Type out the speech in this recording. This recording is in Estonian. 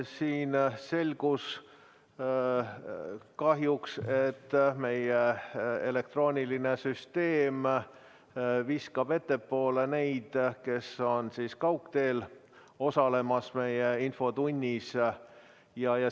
Siin kahjuks selgus, et meie elektrooniline süsteem viskab ettepoole need, kes osalevad infotunnis kaugteel.